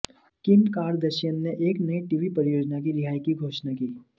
किम Kardashian ने एक नई टीवी परियोजना की रिहाई की घोषणा की